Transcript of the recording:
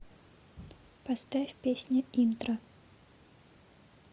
поставь песня интро